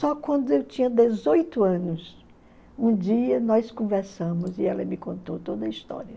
Só quando eu tinha dezoito anos, um dia nós conversamos e ela me contou toda a história.